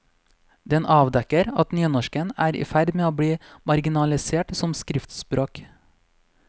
Den avdekker at nynorsken er i ferd med i bli marginalisert som skriftspråk.